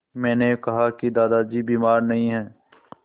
मैंने कहा कि दादाजी बीमार नहीं हैं